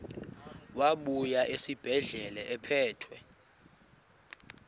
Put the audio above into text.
wabuya esibedlela ephethe